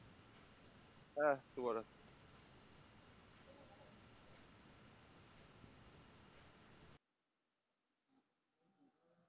হ্যাঁ শুভরাত্রি